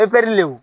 Epi le